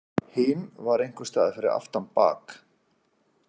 Hin var einhvers staðar fyrir aftan bak.